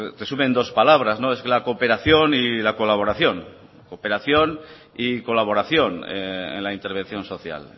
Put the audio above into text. resume en dos palabras es la cooperación y la colaboración en la intervención social